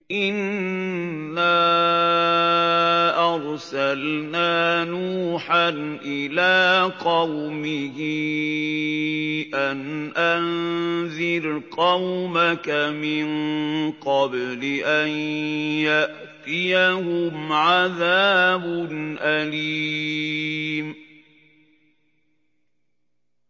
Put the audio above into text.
إِنَّا أَرْسَلْنَا نُوحًا إِلَىٰ قَوْمِهِ أَنْ أَنذِرْ قَوْمَكَ مِن قَبْلِ أَن يَأْتِيَهُمْ عَذَابٌ أَلِيمٌ